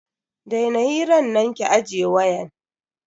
Daina hiran nan ki ajiye wayan.